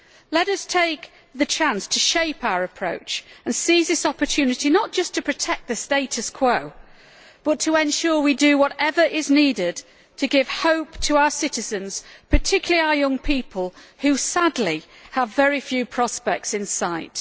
Let us take the chance to shape our approach and seize this opportunity not just to protect the status quo, but to ensure we do whatever is needed to give hope to our citizens, particularly our young people, who sadly have very few prospects in sight.